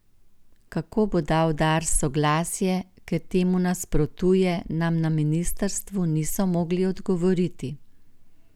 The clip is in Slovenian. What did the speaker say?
Kako bo dal Dars soglasje, ker temu nasprotuje, nam na ministrstvu niso mogli odgovoriti.